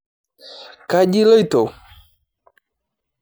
Kaji iloito?